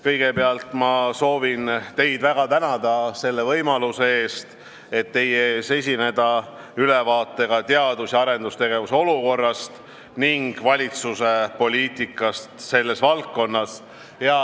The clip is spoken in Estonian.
Kõigepealt soovin ma teid väga tänada selle võimaluse eest, et saan teie ees esineda ülevaatega teadus- ja arendustegevuse olukorrast ning valitsuse poliitikast selles valdkonnas.